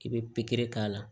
I bɛ pikiri k'a la